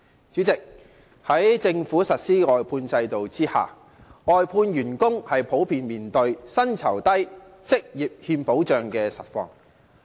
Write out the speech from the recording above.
主席，在政府實施的外判制度下，外判員工普遍面對薪酬低、職業欠保障的實況。